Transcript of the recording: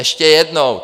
Ještě jednou!